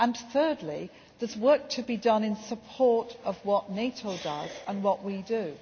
say. Thirdly, there is work to be done in support of what NATO does and what